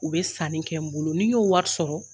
U be sanni kɛ n bolo ,n'i n y'o wari sɔrɔ